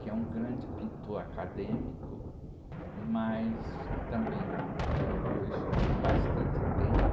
que é um grande pintor acadêmico, mas também, depois de bastante tempo,